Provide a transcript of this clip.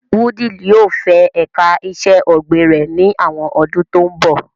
Wudil yóò fẹ ẹ̀ka iṣẹ́ ọ̀gbìn rẹ̀ ní àwọn ọdún tó ń bọ̀.